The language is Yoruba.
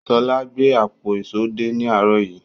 Ṣọlá gbé àpò ìṣó dé ní àárọ̀ yìí.